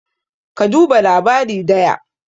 ka duba labari daya?